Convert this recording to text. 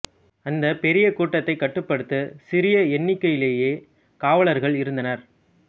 அந்தப் பெரிய கூட்டத்தைக் கட்டுப்படுத்த சிறிய எண்ணிக்கையிலேயே காவலர்கள் இருந்தனர்